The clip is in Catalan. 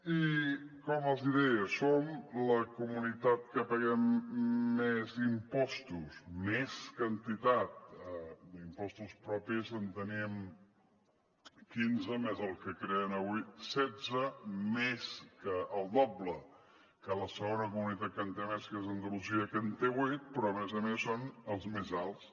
i com els deia som la comunitat que paguem més impostos més quantitat d’impostos propis en tenim quinze més el que creen avui setze més del doble que la segona comunitat que en té més que és andalusia que en té vuit però a més a més són els més alts